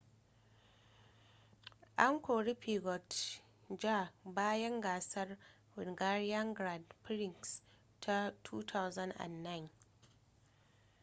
an kori piquet jr bayan gasar hungarian grand prix ta 2009